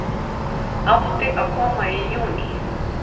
Átti að koma í júní